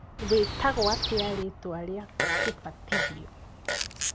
Wĩtagwo atĩa rĩtwa rĩa kĩbatithio?